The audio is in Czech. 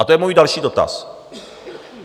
A to je můj další dotaz.